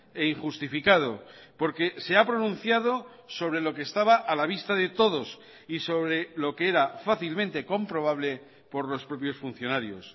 e injustificado porque se ha pronunciado sobre lo que estaba a la vista de todos y sobre lo que era fácilmente comprobable por los propios funcionarios